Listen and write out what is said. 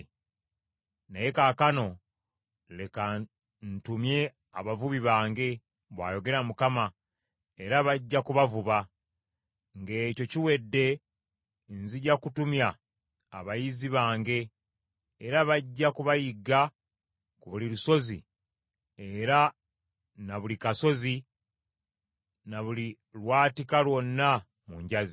“Naye kaakano leka ntumye abavubi bange,” bw’ayogera Mukama , “era bajja kubavuba. Ng’ekyo kiwedde nzija kutumya abayizzi bange, era bajja kubayigga ku buli lusozi era na buli kasozi na buli lwatika lwonna mu njazi.